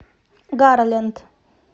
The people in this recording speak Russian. гарленд